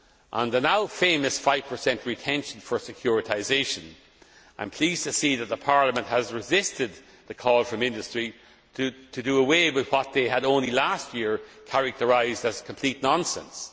On the now famous 5 retention for securitisation, I am pleased to see that Parliament has resisted the call from industry to do away with what they had only last year characterised as complete nonsense.